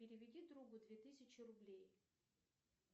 переведи другу две тысячи рублей